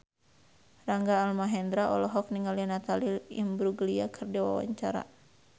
Rangga Almahendra olohok ningali Natalie Imbruglia keur diwawancara